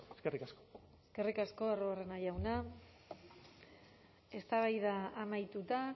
eskerrik asko eskerrik asko arruabarrena jauna eztabaida amaituta